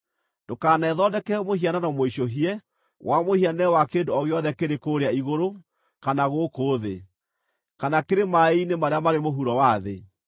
“Ndũkanethondekere mũhianano mũicũhie wa mũhianĩre wa kĩndũ o gĩothe kĩrĩ kũũrĩa igũrũ, kana gũkũ thĩ, kana kĩrĩ maaĩ-inĩ marĩa marĩ mũhuro wa thĩ.